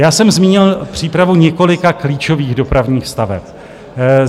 Já jsem zmínil přípravu několika klíčových dopravních staveb.